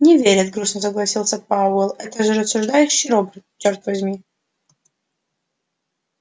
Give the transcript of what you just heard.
не верит грустно согласился пауэлл это же рассуждающий робот чёрт возьми